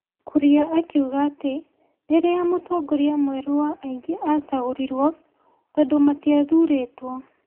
Kuria akiuga atĩ rĩrĩa mũtongoria mwerũ wa aingĩ acagũrirwo, tondũ matiathũrĩtwo,